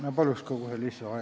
Ma palun kohe lisaaega!